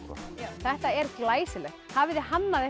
þetta er glæsilegt hafið þið hannað